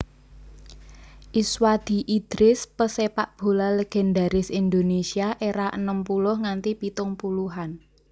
Iswadi Idris pesepakbola legendaris Indonesia era enem puluh nganti pitung puluhan